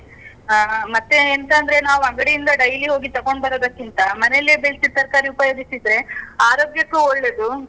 ಆ. ಮತ್ತೆ ಎಂತಂದ್ರೆ ನಾವು ಅಂಗಡಿಯಿಂದ daily ಹೋಗಿ ತಕೊಂಡ್ಬರೋದಕ್ಕಿಂತ, ಮನೆಯಲ್ಲೇ ಬೆಳ್ಸಿದ್ ತರ್ಕಾರಿ ಉಪಯೋಗಿಸಿದ್ರೆ ಆರೋಗ್ಯಕ್ಕೂ ಒಳ್ಳೇದು.